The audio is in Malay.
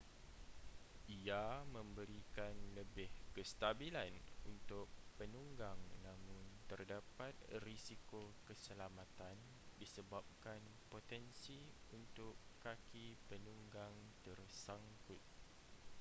ia memberikan lebih kestabilan untuk penunggang namun terdapat risiko keselamatan disebabkan potensi untuk kaki penunggang tersangkut